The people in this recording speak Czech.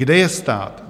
Kde je stát?